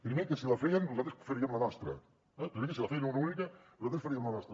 primer que si la feien nosaltres faríem la nostra eh primer que si la feien una única nosaltres faríem la nostra